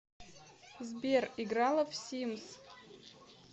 сбер играла в симс